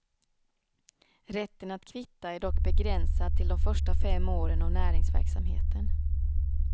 Rätten att kvitta är dock begränsad till de första fem åren av näringsverksamheten.